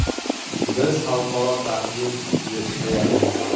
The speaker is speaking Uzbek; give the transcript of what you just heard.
Biz xalqaro taqvim ustida ishlayapmiz.